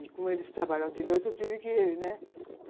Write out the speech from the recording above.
E como eles trabalhavam de noite, eu tive que, né?